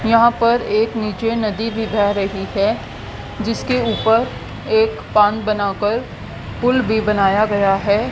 यहां पर एक नीचे नदी भी बह रही है जिसके ऊपर एक बांध बनाकर पुल भी बनाया गया है।